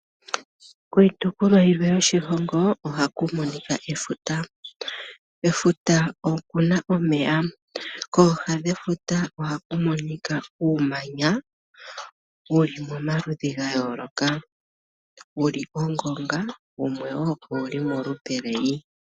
Kiitopolwa yimwe yoshilongo ohaku monika efuta. Kefuta okuna omeya. Kooha dhefuta ohaku monika uumanya wuli momaludhi gayooloka wuli molupe lwongonga nawumwe owuli molupe lweyi.